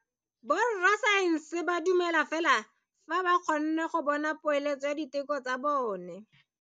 Borra saense ba dumela fela fa ba kgonne go bona poeletsô ya diteko tsa bone.